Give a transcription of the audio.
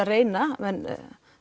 reyna